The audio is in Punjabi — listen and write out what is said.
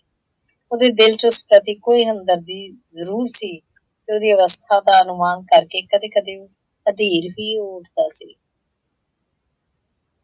ਉਹਦੇ ਦਿੱਲ ਚ ਉਸ ਸਤਰਦੀ ਕੋਈ ਹਮਦਰਦੀ ਜ਼ਰੂਰ ਸੀ ਤੇ ਉਹਦੀ ਅਵਸਥਾ ਦਾ ਅਨੂਮਾਨ ਕਰਕੇ ਕਦੇ ਕਦੇ ਉਹ ਵੀ ਹੋ ਉੱਠਦਾ ਸੀ।